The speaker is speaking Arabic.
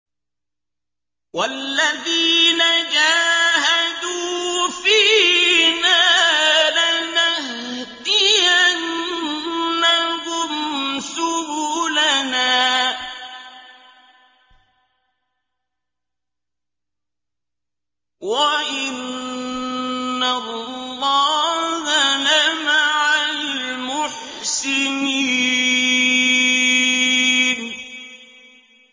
وَالَّذِينَ جَاهَدُوا فِينَا لَنَهْدِيَنَّهُمْ سُبُلَنَا ۚ وَإِنَّ اللَّهَ لَمَعَ الْمُحْسِنِينَ